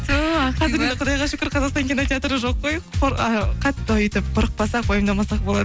құдайға шүкір қазақстан кинотеатры жоқ қой қатты өйтіп қорықпасақ уайымдамасақ болады